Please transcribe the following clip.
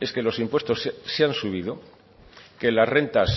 es que los impuestos se han subido que las rentas